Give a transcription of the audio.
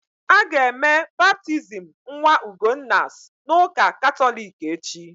Aga eme baptizim nwa Ugonna's na ụka Katọlik echi